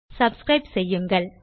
subscribe செய்யுங்கள்